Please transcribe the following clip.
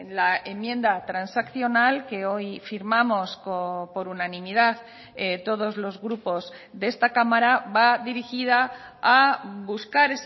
la enmienda transaccional que hoy firmamos por unanimidad todos los grupos de esta cámara va dirigida a buscar